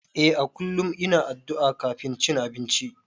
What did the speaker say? Eh a kullum ina addu'a kafin cin abinci.